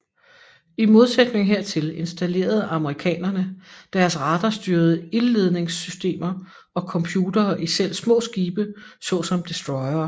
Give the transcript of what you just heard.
I modsætning hertil installerede amerikanerne deres radarstyrede ildledningssystemer og computere i selv små skibe såsom destroyere